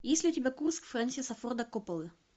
есть ли у тебя курс фрэнсиса форда копполы